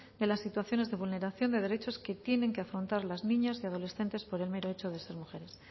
de las situaciones de vulneración de derechos que tienen que afrontar las niñas y adolescentes por el mero hecho de ser mujeres